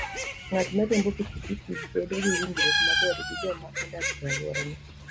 Ng'at ma riembo pikipiki bedo gi winjruok maber gi joma odak e alworane.